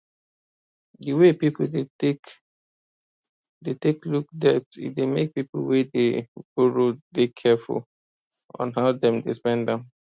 the way people dey take dey take look debt e dey make people wey dey boroow dey careful on how dem dey spend am